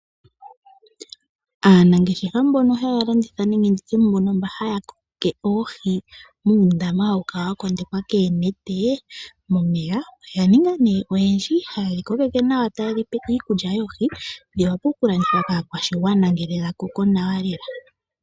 Aanangeshefa mbono haya landitha nenge ndi tye mbono haya kokeke oohi muundama hawu kala wa kondekwa koonete momeya oya ninga nduno oyendji taye dhi kokeke nawa taye dhi pe iikulya yoohi dhi wape okulandithwa kaakwashigwana ngele dha koko nawa lela.